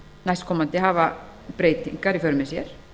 næstkomandi hafa breytingar í för með sér